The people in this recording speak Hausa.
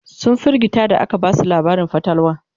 sun firgita da aka Basu labarin fatalwa